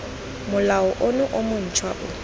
molao ono o montšhwa o